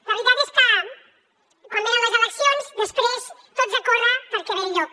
la veritat és que quan venen les eleccions després tots a córrer perquè ve el llop